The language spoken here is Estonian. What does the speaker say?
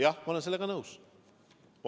Jah, ma olen sellega nõus.